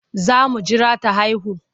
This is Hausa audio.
Za mu jira ta haihu.